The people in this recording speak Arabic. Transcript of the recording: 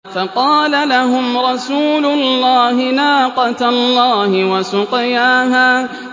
فَقَالَ لَهُمْ رَسُولُ اللَّهِ نَاقَةَ اللَّهِ وَسُقْيَاهَا